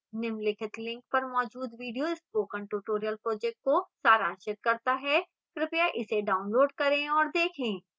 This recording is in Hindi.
निम्नलिखित link पर मौजूद video spoken tutorial project को सारांशित करता है कृपया इसे डाउनलोड करें और देखें